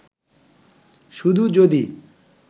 শুধু যদি